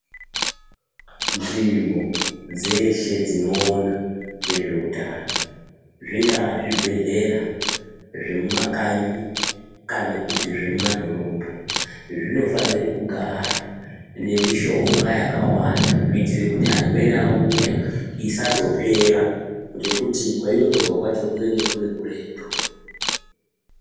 Nzvimbo dzeshe dzinoona ngezveutano zvingaa zvibhehlera zvemumakanyi kana kuti zvemumadhorobha zvinofanire kugara nemishonga yakawanda kuitire kuti varwere vauya isazopera ngekuti kwainotorwa kwacho kunenge kuri kuretu.